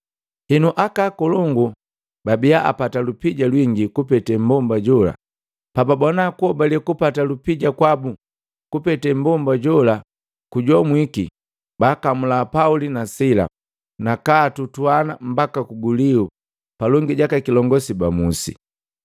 Henu aka akolongu bababia apata lupija lwingi kupete mmbomba jola pababona kuhobale kupata lupija kwabu kupete mmbomba jola kujomwiki, baakamula Pauli na Sila, naka atutuana mbaka kuguliu palongi jaka kilongosi ba musi.